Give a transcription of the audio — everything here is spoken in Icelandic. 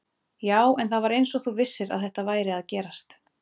Já, en það var eins og þú vissir að þetta væri að gerast